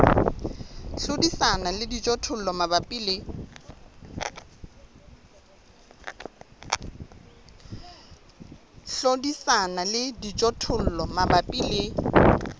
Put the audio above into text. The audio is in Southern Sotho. hlodisana le dijothollo mabapi le